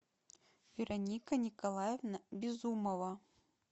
вероника николаевна безумова